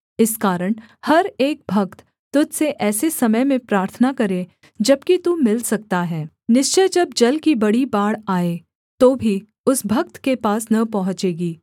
इस कारण हर एक भक्त तुझ से ऐसे समय में प्रार्थना करे जबकि तू मिल सकता है निश्चय जब जल की बड़ी बाढ़ आए तो भी उस भक्त के पास न पहुँचेगी